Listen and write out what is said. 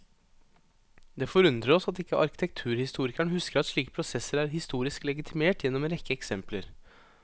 Det forundrer oss at ikke arkitekturhistorikeren husker at slike prosesser er historisk legitimert gjennom en rekke eksempler.